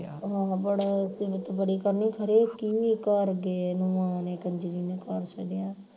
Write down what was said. ਹਾਂ ਬੜਾ ਸਿਫਤ ਬੜੀ ਕਰਨੀ ਹਰੇਕ ਘਰ ਗਏ ਨੂੰ ਆ ਉਹਨੇ ਕੰਜਰੀ ਨੇ ਖੁਆ ਛੱਡਿਆ